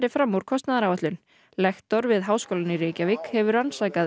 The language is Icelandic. fram úr kostnaðaráætlun lektor við Háskólann í Reykjavík hefur rannsakað